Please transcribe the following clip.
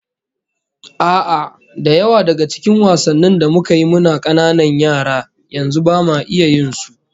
A'a, da yawa daga cikin wasannin da muka yi muna kananan yara, yanzu bama iya yin su